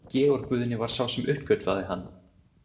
Georg Guðni var sá sem uppgötvaði hann.